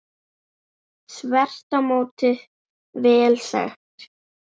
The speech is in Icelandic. Þvert á móti vel þekkt.